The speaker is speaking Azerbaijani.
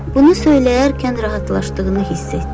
Bunu söyləyərkən rahatlaşdığını hiss etdi.